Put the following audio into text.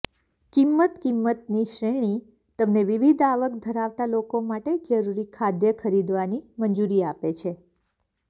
કિંમત કિંમતની શ્રેણી તમને વિવિધ આવક ધરાવતા લોકો માટે જરૂરી ખાદ્ય ખરીદવાની મંજૂરી આપે છે